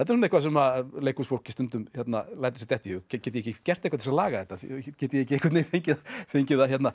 eitthvað sem leikhúsfólk lætur sér detta í hug get ég ekki gert eitthvað til þess að laga þetta get ég ekki fengið fengið að